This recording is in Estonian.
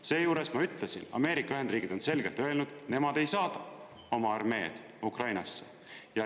Seejuures, ma ütlesin, Ameerika Ühendriigid on selgelt öelnud, et nemad ei saada oma armeed Ukrainasse.